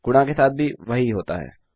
गुणा के साथ भी वही होता है